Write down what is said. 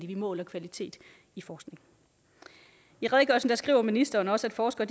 vi måler kvalitet i forskning i redegørelsen skriver ministeren også at forskere